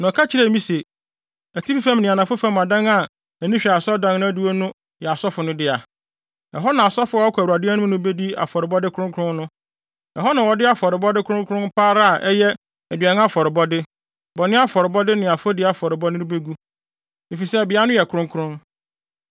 Na ɔka kyerɛɛ me se, “Atifi fam ne anafo fam adan a ani hwɛ asɔredan adiwo no yɛ asɔfo no dea, ɛhɔ na asɔfo a wɔkɔ Awurade anim no bedi afɔrebɔde kronkron no. Ɛhɔ na wɔde afɔrebɔde kronkron pa ara a ɛyɛ aduan afɔrebɔde, bɔne afɔrebɔde ne afɔdi afɔrebɔde no begu, efisɛ beae no yɛ kronkron.